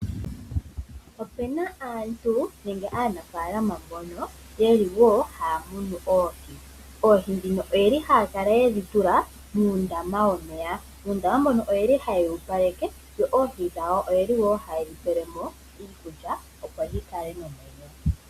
Opena aantu nenge aanafaalama mbono yeli wo haya munu Oohi. Oohi dhino oyeli haya kala yedhi tula muundama womeya, uundama mbono oyeli ha yewu opaleke yo Oohi dhawo oyeli wo ha yedhi pele mo iikulya opo dhi kale nomwenyo.